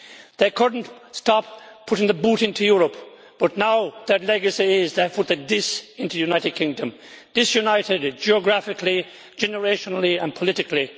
They could not stop putting the boot into Europe, but now their legacy is that they have put the dis' into the United Kingdom disunited geographically, generationally and politically.